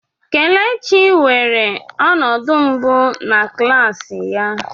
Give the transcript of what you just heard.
Kelechi weere ọnọdụ mbụ na klas ya.